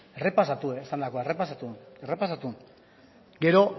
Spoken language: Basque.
errepasatu esandakoa errepasatu errepasatu gero